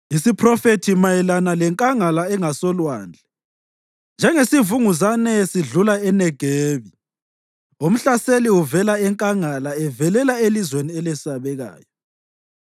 Isiphrofethi mayelana leNkangala engasoLwandle: Njengesivunguzane sidlula eNegebi, umhlaseli uvela enkangala evelela elizweni elesabekayo.